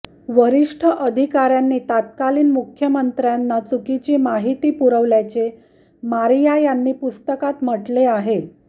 वरिष्ठ अधिकाऱ्यांनी तत्कालीन मुख्यमंत्र्यांना चुकीची माहिती पुरवल्याचे मारिया यांनी पुस्तकात म्हटले आहे